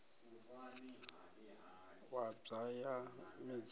wa bwa wa ya midzini